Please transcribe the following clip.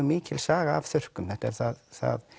mikil saga af þurrkum þetta er það það